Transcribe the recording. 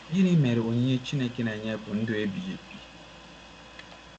Gịnị mere, onyinye Chineke na-enye bụ ndụ ebighị ebi?